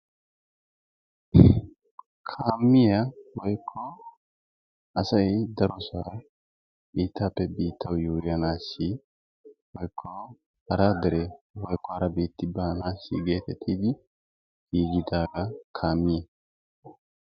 Kaamiya woyikko asay darosaa biittaappe biittawu yuuyyanaassi woyikko hara dere woyikko hara biitti baanaassi geettettidi giigidaagaa kaamiya.